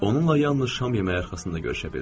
Onunla yalnız şam yeməyi arxasında görüşə bildim.